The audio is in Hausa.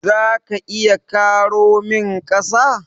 Za ka iya karo min ƙasa?